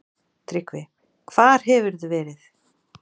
TRYGGVI: Hvar hefurðu verið?